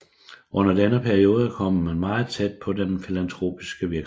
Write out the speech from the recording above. Under denne periode kom man meget tæt på den filantropiske virksomhed